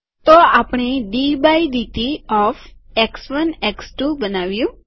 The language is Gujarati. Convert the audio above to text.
તો આપણે ડી બાય ડીટી ઓફ એક્સ1 એક્સ2 બનાવ્યું